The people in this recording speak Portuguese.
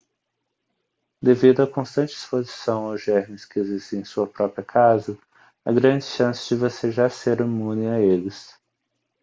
devido a constante exposição aos germes que existem em sua própria casa há grandes chances de você já ser imune a eles